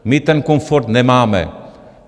My ten komfort nemáme.